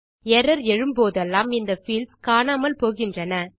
error எழும்போதெல்லாம் இந்த fields காணாமல் போகின்றன